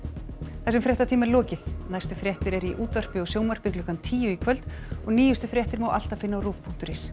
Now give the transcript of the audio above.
þessum fréttatíma er lokið næstu fréttir eru í útvarpi og sjónvarpi klukkan tíu í kvöld og nýjustu fréttir má alltaf finna á rúv punktur is